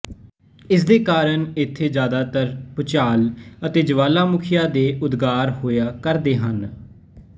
ਇਸ ਦੇ ਕਾਰਨ ਇੱਥੇ ਜਿਆਦਾਤਰ ਭੁਚਾਲ ਅਤੇ ਜਵਾਲਾਮੁਖੀਆਂ ਦੇ ਉਦਗਾਰ ਹੋਇਆ ਕਰਦੇ ਹਨ